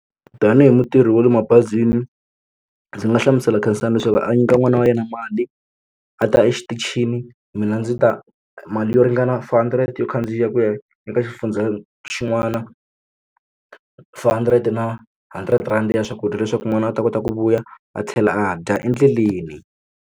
Tanihi mutirhi wale mabazini ndzi nga hlamusela Khensani leswaku a nyika n'wana wa yena mali a ta exitichini mina ndzi ta mali yo ringana four hundred yo khandziya ku ya eka xifundza xin'wana four hundred na hundred rand ya swakudya leswaku n'wana a ta kota ku vuya a tlhela a dya endleleni.